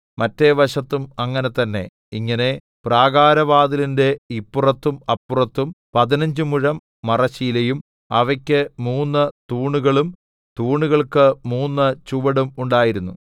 മറ്റെവശത്തും അങ്ങനെ തന്നെ ഇങ്ങനെ പ്രാകാരവാതിലിന്റെ ഇപ്പുറത്തും അപ്പുറത്തും പതിനഞ്ച് മുഴം മറശ്ശീലയും അവയ്ക്ക് മൂന്ന് തൂണുകളും തൂണുകൾക്ക് മൂന്ന് ചുവടും ഉണ്ടായിരുന്നു